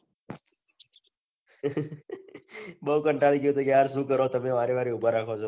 બહુ કંટાળી ગયો તો યાર શું કરો તમે વારે વારે ઉભા રાખો છો